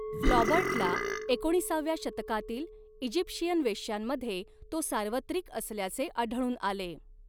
फ्लॉबर्टला एकोणिसाव्या शतकातील इजिप्शियन वेश्यांमध्ये तो सार्वत्रिक असल्याचे आढळून आले.